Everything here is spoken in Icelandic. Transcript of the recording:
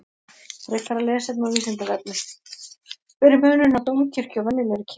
Frekara lesefni á Vísindavefnum: Hver er munurinn á dómkirkju og venjulegri kirkju?